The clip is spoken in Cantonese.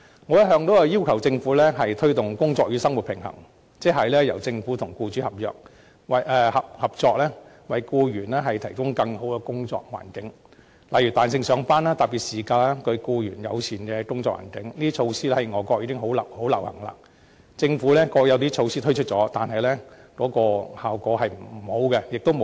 我一向要求政府推動"工作與生活平衡"，即是由政府和僱主合作，為僱員提供更好的工作環境，例如彈性上班、特別事假、對僱員友善的工作環境，這些措施在外國已相當流行，政府過去也曾推出一些措施，但效果欠佳，力度亦不足。